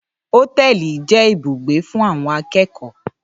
Ótẹlì jẹ ìbúgbẹ fún awon àkẹkọ.